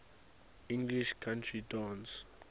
english country dance